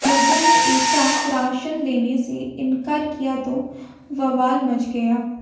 लोगों ने ऐसा राशन लेने से इनकार किया तो बवाल मच गया